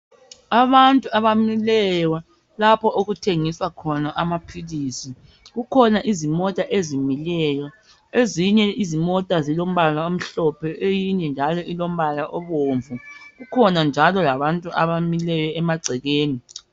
Abantu abamileyo lapho okuthengiswa khona amaphilisi, kukhona izimota ezimeleyo ezinye izimota zilombala omhlophe eyinye njalo ilombala obomvu, kukhona njalo abantu abamileyo emagcekeni.